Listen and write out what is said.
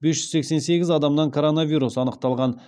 бес жүз сексен сегіз адамнан коронавирус анықталған